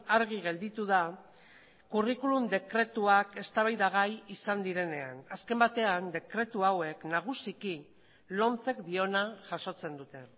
argi gelditu da curriculum dekretuak eztabaidagai izan direnean azken batean dekretu hauek nagusiki lomcek diona jasotzen dute